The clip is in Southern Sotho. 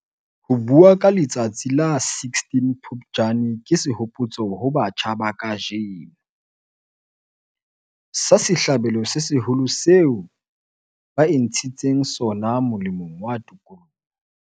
Ho bua ka letsatsi la la 16 Phupjane ke sehopotso ho batjha ba kajeno, sa sehlabelo se seholo seo ba intshitseng sona molemong wa tokoloho.